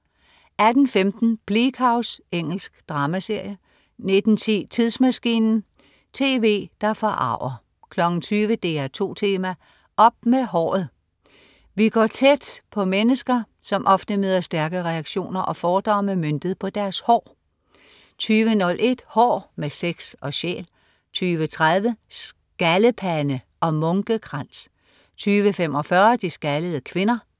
18.15 Bleak House. Engelsk dramaserie 19.10 Tidsmaskinen. Tv, der forarger 20.00 DR2 Tema: Op med håret! Vi går vi tæt på mennesker som ofte møder stærke reaktioner og fordomme møntet på deres hår 20.01 Hår med sex og sjæl 20.30 Skaldepande og munkekrans 20.45 De skaldede kvinder